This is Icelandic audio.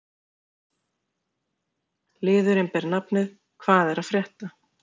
Liðurinn ber nafnið: Hvað er að frétta?